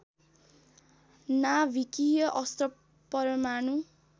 नाभिकीय अस्त्र परमाणु